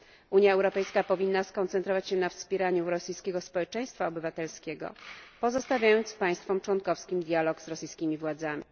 Unia Europejska powinna skoncentrować się na wspieraniu rosyjskiego społeczeństwa obywatelskiego, pozostawiając państwom członkowskim dialog z rosyjskimi władzami.